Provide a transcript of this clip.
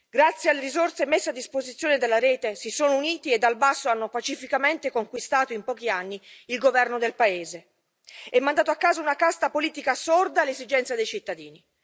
Grazie alle risorse messe a disposizione dalla rete si sono uniti e, dal basso, hanno pacificamente conquistato in pochi anni il governo del paese e mandato a casa una casta politica sorda alle esigenze dei cittadini.